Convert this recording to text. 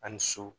Ani so